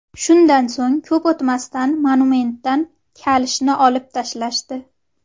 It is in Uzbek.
Shundan so‘ng ko‘p o‘tmasdan monumentdan kalishni olib tashlashdi .